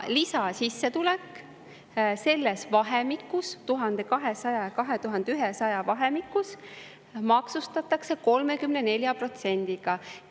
Lisasissetulek selles vahemikus, 1200–2100 vahemikus maksustatakse 34%-ga.